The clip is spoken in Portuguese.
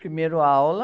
Primeiro aula.